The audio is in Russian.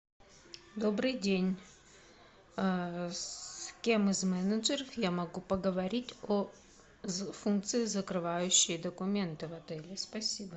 добрый день с кем из менеджеров я могу поговорить о функции закрывающие документы в отеле спасибо